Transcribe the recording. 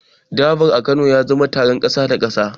Durbar a Kano ya zama taron kasa da kasa.